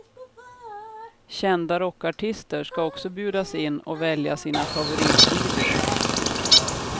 Kända rockartister ska också bjudas in och välja sina favoritvideor.